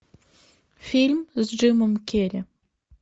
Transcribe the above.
фильм с джимом керри